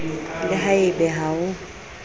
le ha ebe ha o